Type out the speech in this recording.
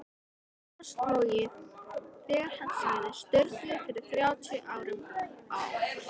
Jónas logið þegar hann sagði Sturlu fyrir þrjátíu árum á